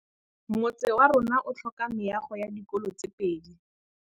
Motse warona o tlhoka meago ya dikolô tse pedi.